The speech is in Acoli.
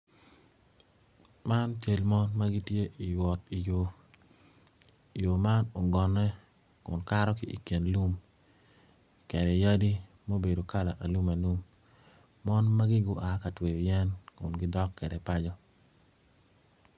Man cal mon ma gitye i wot i yo yo man ugonne kun kato ki ilum kede yadi mubedo kala alum alum mon magi gua ka tweyo yen kun gidok kwede paco